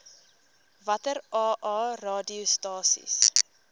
watter aa radiostasies